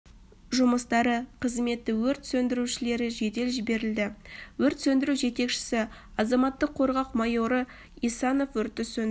жұмыстары қызметі өрт сөндірушілері жедел жіберілді өрт сөндіру жетекшісі азаматтық қорғау майоры исанов өртті сөндіру